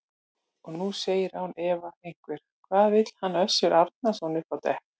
Og nú segir án efa einhver: Hvað vill hann Össur Árnason upp á dekk?